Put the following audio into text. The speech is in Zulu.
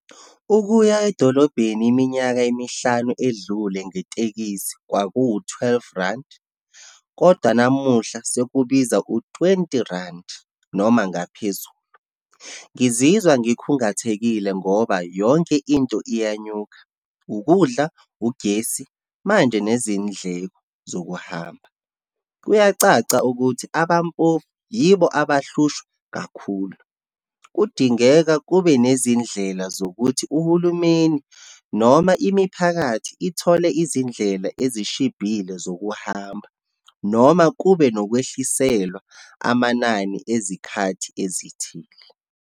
Ukuya edolobheni iminyaka emihlanu edlule ngetekisi kwakuwu-twelve randi, kodwa namuhla sekubiza u-twenty randi, noma ngaphezulu. Ngizizwa ngikhungathekile ngoba yonke into iyanyuka, ukudla, ugesi, manje nezindleko zokuhamba. Kuyacaca ukuthi abampofu yibo abahlushwa kakhulu. Kudingeka kube nezindlela zokuthi uhulumeni, noma imiphakathi ithole izindlela ezishibhile zokuhamba, noma kube nokwehliselwa amanani ezikhathi ezithile.